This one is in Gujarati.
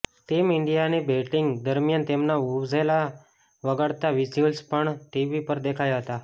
ટીમ ઈન્ડિયાની બેટિંગ દરમિયાન તેમના વુવુઝેલા વગાડતા વિઝ્યુઅલ્સ પણ ટીવી પર દેખાયા હતા